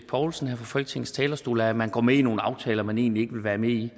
poulsen her fra folketingets talerstol om at man går med i nogle aftaler man egentlig ikke vil være med i